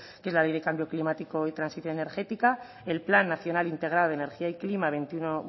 que es la ley del cambio climático y transición energética el plan nacional integral energía y clima